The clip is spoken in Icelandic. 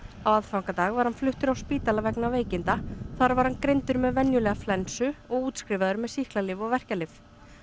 á aðfangadag var hann fluttur á spítala vegna veikinda þar var hann greindur með venjulega flensu og útskrifaður með sýklalyf og verkjalyf